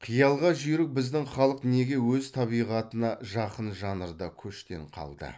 қиялға жүйрік біздің халық неге өз табиғатына жақын жанрда көштен қалды